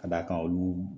Ka d'a kan olu